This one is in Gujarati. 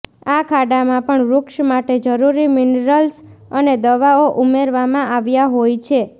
આ ખાડામાં પણ વૃક્ષ માટે જરૂરી મિનરલ્સ અને દવાઓ ઉમેરવામાં આવ્યા હોય છે